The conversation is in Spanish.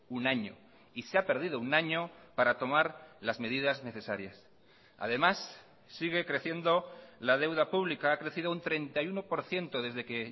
un año y se ha perdido un año para tomar las medidas necesarias además sigue creciendo la deuda pública ha crecido un treinta y uno por ciento desde que